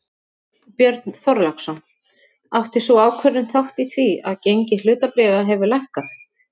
Björn Þorláksson: Átti sú ákvörðun þátt í því að gengi hlutabréfa hefur lækkað?